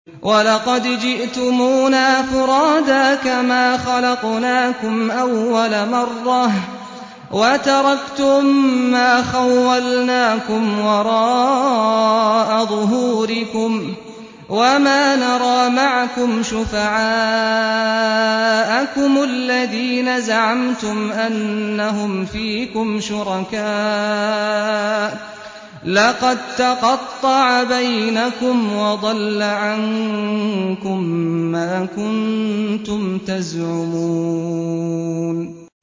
وَلَقَدْ جِئْتُمُونَا فُرَادَىٰ كَمَا خَلَقْنَاكُمْ أَوَّلَ مَرَّةٍ وَتَرَكْتُم مَّا خَوَّلْنَاكُمْ وَرَاءَ ظُهُورِكُمْ ۖ وَمَا نَرَىٰ مَعَكُمْ شُفَعَاءَكُمُ الَّذِينَ زَعَمْتُمْ أَنَّهُمْ فِيكُمْ شُرَكَاءُ ۚ لَقَد تَّقَطَّعَ بَيْنَكُمْ وَضَلَّ عَنكُم مَّا كُنتُمْ تَزْعُمُونَ